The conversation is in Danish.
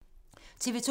TV 2